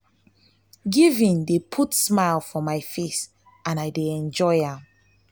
giving dey put smile for my face and i dey enjoy am.